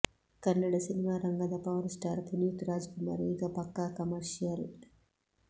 ಕನ್ನಡ ಸಿನಿಮಾರಂಗದ power star Puneeth Rajkumar ಈಗ ಪಕ್ಕಾ ಕಮರ್ಷಿಯಲ್